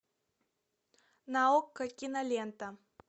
на окко кинолента